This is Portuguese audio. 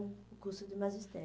o curso de magistério.